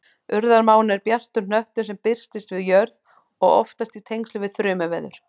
Urðarmáni er bjartur hnöttur sem birtist við jörð, oftast í tengslum við þrumuveður.